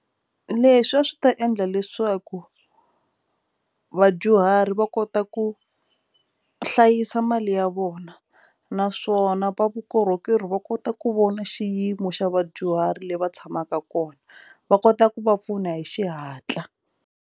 Leswi a swi ta endla leswaku vadyuhari va kota ku hlayisa mali ya vona naswona va vukorhokeri va kota ku vona xiyimo xa vadyuhari leyi va tshamaka kona va kota ku va pfuna hi xihatla.